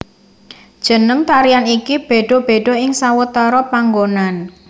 Jeneng tarian iki béda béda ing sawetara panggonan